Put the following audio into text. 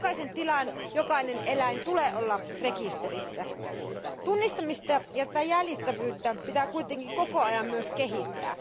Jokaisen tilan jokainen eläin tulee olla rekisterissä. Tunnistamista ja jäljitettävyyttä pitää kuitenkin koko ajan myös kehittää.